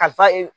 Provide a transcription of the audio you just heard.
Kalifa